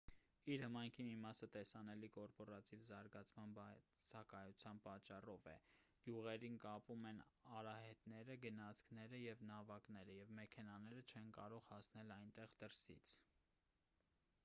իր հմայքի մի մասը տեսանելի կորպորատիվ զարգացման բացակայության պատճառով է գյուղերին կապում են արահետները գնացքները և նավակները և մեքենաները չեն կարող հասնել այնտեղ դրսից